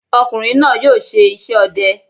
Ọ̀kùnrin náà yóò ṣe iṣẹ́ ọdẹ